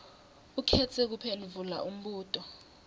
ukhetse kuphendvula umbuto